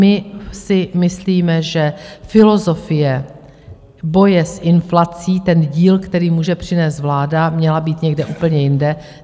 My si myslíme, že filozofie boje s inflací, ten díl, který může přinést vláda, měla být někde úplně jinde.